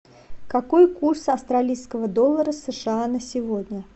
какой курс австралийского доллара сша на сегодня